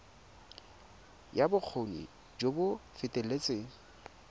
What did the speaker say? ya bokgoni jo bo feteletseng